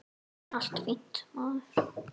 Allt fínt, maður.